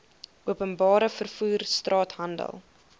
openbare vervoer straathandel